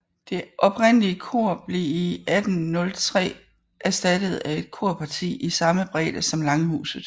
Det oprindelige kor blev i 1803 erstattet af et korparti i samme bredde som langhuset